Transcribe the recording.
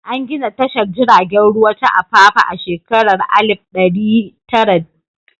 An gina tashar jiragen ruwa ta Apapa a shekara ta 1900.